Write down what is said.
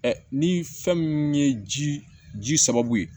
ni fɛn min ye ji ji sɔrɔ yen